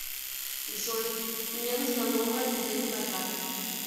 джой мне нужна новая дебетовая карта